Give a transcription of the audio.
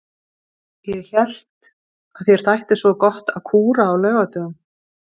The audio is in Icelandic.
Ég hélt að þér þætti svo gott að kúra á laugardögum.